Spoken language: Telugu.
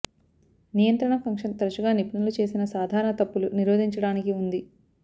నియంత్రణ ఫంక్షన్ తరచుగా నిపుణులు చేసిన సాధారణ తప్పులు నిరోధించడానికి ఉంది